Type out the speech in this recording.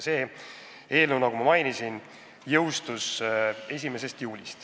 See seadus, nagu ma mainisin, jõustus 1. juulil.